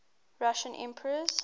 russian emperors